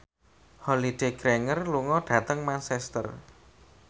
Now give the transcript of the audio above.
Holliday Grainger lunga dhateng Manchester